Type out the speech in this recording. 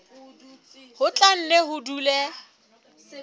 ho tla nne ho dule